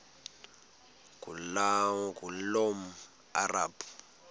ngulomarabu